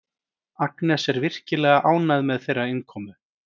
Agnes er virkilega ánægð með þeirra innkomu.